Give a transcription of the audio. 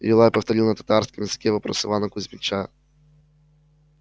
юлай повторил на татарском языке вопрос ивана кузмича